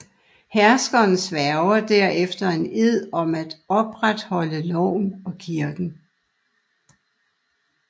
Herskeren sværger derefter en ed om at opretholde loven og kirken